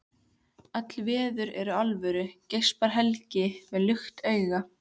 Öll veður eru alvöru, geispar Helgi með lukt augu.